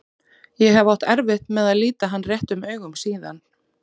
Ég hef átt erfitt með að líta hann réttum augum síðan.